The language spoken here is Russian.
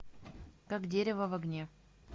как дерево в огне